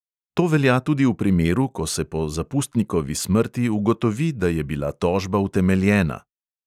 To velja tudi v primeru, ko se po zapustnikovi smrti ugotovi, da je bila tožba utemeljena.